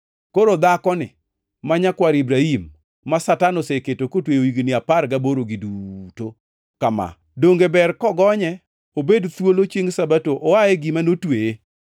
Koro dhakoni, ma nyakwar Ibrahim, ma Satan oseketo kotweyo higni apar gaborogi duto kama donge ber kogonye obed thuolo chiengʼ Sabato oa e gima notweye?”